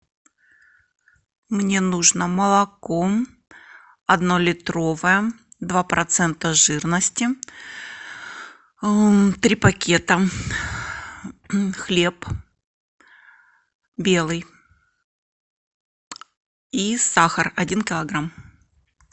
мне нужно молоко однолитровое два процента жирности три пакета хлеб белый и сахар один килограмм